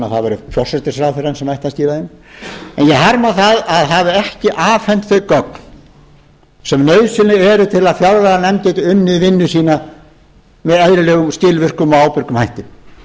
að það væri forsætisráðherrann sem ætti að skila þeim en ég harma að það hafi ekki afhent þau gögn sem nauðsynleg eru til að fjárlaganefnd geti unnið vinnu sína með eðlilegum skilvirkum og ábyrgum hætti